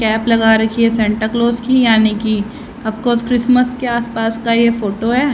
Cap लगा रखी है सेंटा क्लॉज की यानी कि ऑफ कोर्स क्रिसमस के आसपास का ये फोटो है।